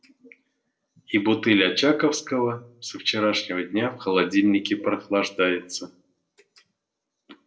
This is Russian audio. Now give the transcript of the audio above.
и бутыль очаковского со вчерашнего дня в холодильнике прохлаждается